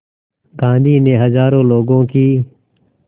गांधी ने हज़ारों लोगों की